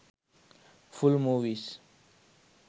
full movies